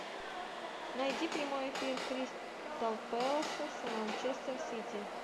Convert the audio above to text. найди прямой эфир кристал пэласа с манчестер сити